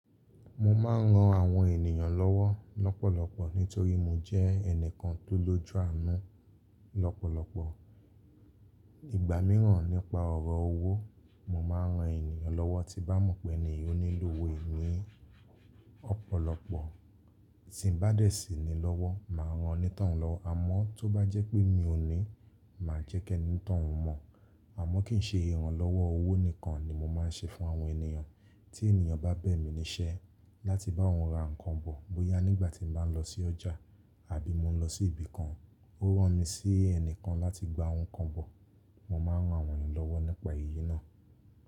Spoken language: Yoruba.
Mo máa ń ran àwọn ènìyàn lọ́wọ́ lọ́pọ̀lọpọ̀ nítorí mo jẹ́ ẹnìkan tó lójú àánú lọ́pọ̀lọpọ̀. Nígbà mìíràn nípa ọ̀rọ̀ owó, mo máa ń ran ènìyàn lọ́wọ́ tí bá mọ̀ pé ènìyàn nílò owó ni ọ̀pọ̀lọpọ̀. Tí ń bá dẹ̀ sí ni lọ́wọ́, màá ran oní tọ̀ún lọ, àmọ́ tó bá jẹ́ pé mi ò ní, màá jẹ́ kí ẹ ní tọ̀ún mọ̀. Àmọ́ kì í ṣe ìrànlọ́wọ́ owó nìkan ni mo máa ń ṣe fún àwọn ènìyàn. Tí ènìyàn bá bẹ̀ mí níṣẹ́ láti bá òun ra nǹkan bọ̀ bóyá nígbà tí mo bá ń lọ sí ọjà àbí mo ń lọ sí ibì kan, ó rán mi sí ẹnìkan láti gba ohun kan bọ̀, mo máa ń rán àwọn ènìyàn lọ́wọ́ nípa iyì náà.